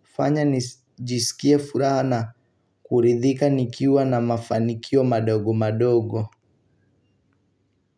hufanya nijisikie furaha na kuridhika nikiwa na mafanikio madogo madogo.